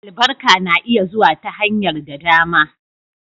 Albarka na iya zuwa ta hanyar da dama.